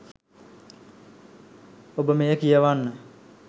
ඔබ මෙය කියවන්න.